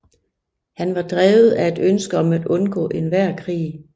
Han var drevet af et ønske om at undgå enhver krig